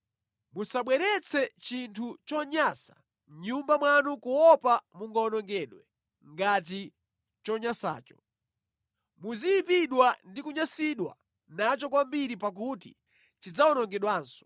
Musabweretse chinthu chonyansa mʼnyumba mwanu kuopa kuwonongedwa ngati chonyasacho. Muziyipidwa ndi kunyansidwa nacho kwambiri pakuti chidzawonongedwanso.